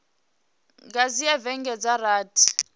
nga dzhia vhege dza rathi